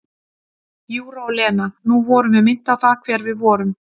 Júra og Lena: nú vorum við minnt á það hver við vorum.